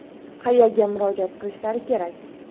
Qayerga murojaat qilishlari kerak?